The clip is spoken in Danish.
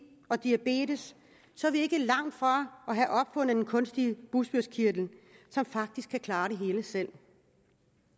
og diabetes så er vi ikke langt fra at have opfundet den kunstige bugspytkirtel som faktisk kan klare det hele selv